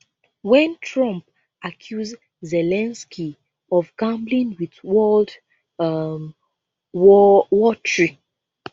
wen trump accuse zelensky of gambling with world um war war three